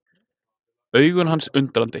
Augu hans undrandi.